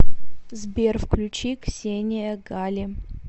сбер включи ксения гали